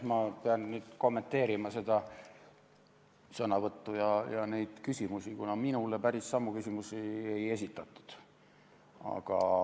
Ma pean kommenteerima seda sõnavõttu ja küsimusi, kuna minule päris samu küsimusi ei esitatud.